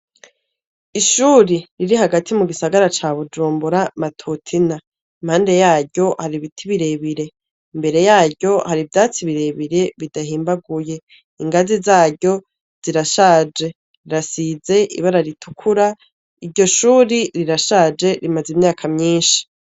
Ishuri riri hagati mu gisagara ca bujumbura matutina impande yaryo haribiti birebire mbere yaryo harivyatsi birebire bidahimbaguye ingazi zaryo zirashaje rirasize ibara ritukura iryo shuri rirashaje rimaze imyaka myinshi.